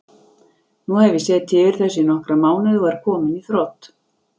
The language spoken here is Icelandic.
Nú hef ég setið yfir þessu í nokkra mánuði og er kominn í þrot.